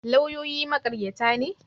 Lauyoyi maƙaryata ne?